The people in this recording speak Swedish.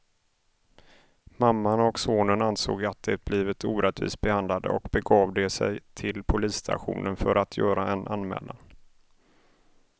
Mamman och sonen ansåg att de blivit orättvist behandlade och begav de sig till polisstationen för att göra en anmälan.